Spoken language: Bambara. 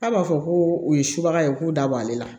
K'a b'a fɔ ko u ye subaga ye k'u da bɔ ale la